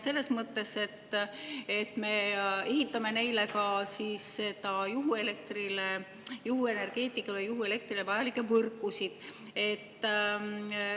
Selles mõttes, et me ehitame neile ka juhuelektrile, juhuenergeetikale vajalikke võrkusid.